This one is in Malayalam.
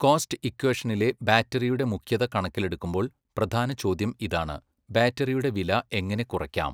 കോസ്റ്റ് ഇക്വേഷനിലെ ബാറ്ററിയുടെ മുഖ്യത കണക്കിലെടുക്കുമ്പോൾ, പ്രധാന ചോദ്യം ഇതാണ്, ബാറ്ററിയുടെ വില എങ്ങനെ കുറയ്ക്കാം?